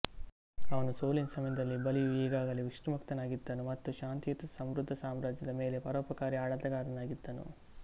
ಅವನ ಸೋಲಿನ ಸಮಯದಲ್ಲಿ ಬಲಿಯು ಈಗಾಗಲೇ ವಿಷ್ಣುಭಕ್ತನಾಗಿದ್ದನು ಮತ್ತು ಶಾಂತಿಯುತ ಸಮೃದ್ಧ ಸಾಮ್ರಾಜ್ಯದ ಮೇಲೆ ಪರೋಪಕಾರಿ ಆಡಳಿತಗಾರನಾಗಿದ್ದನು